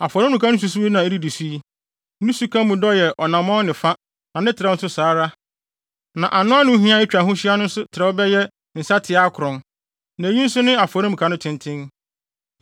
“Afɔremuka no nsusuwii na edidi so yi. Ne suka mu dɔ yɛ ɔnammɔn ne fa na ne trɛw nso saa ara, na anoano hiɛ a etwa ho hyia no nso trɛw bɛyɛ nsateaa akron. Na eyi nso ne afɔremuka no tenten: